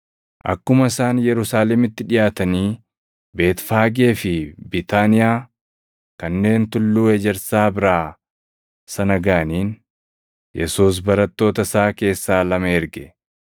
Akkuma isaan Yerusaalemitti dhiʼaatanii, Beetfaagee fi Biitaaniyaa kanneen Tulluu Ejersaa biraa sana gaʼaniin Yesuus Barattoota isaa keessaa lama erge;